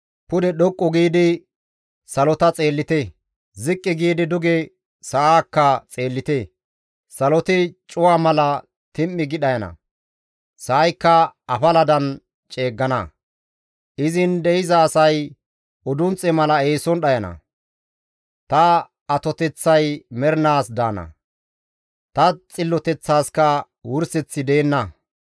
Pude dhoqqu giidi salota xeellite; ziqqi giidi duge sa7aakka xeellite. Saloti cuwa mala tim7i gi dhayana; sa7aykka afaladan ceeggana; izin de7iza asay udunxxe mala eeson dhayana; ta atoteththay mernaas daana; ta xilloteththaaska wurseththi deenna.»